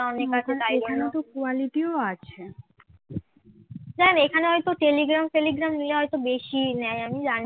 দেখ এখানে হয়তো telegram ফেলিগ্রাম নিয়ে হয়তো বেশি নেয় আমি জানিনা